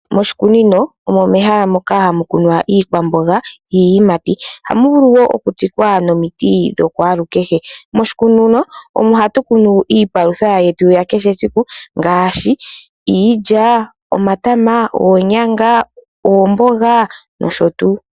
Moshikunino omo mehala moka hamu kunwa iikwamboga niiyimati. Ohamu vulu wo okukunwa omiti dhakwalukehe. Omo hatu kunu iipalutha yetu ya kehe siku ngaashi iilya, omatama, oonyanga, oomboga nosho tuu.